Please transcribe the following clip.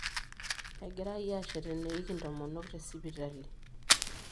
Egirai aashet eneiki intomonok tesipitalo.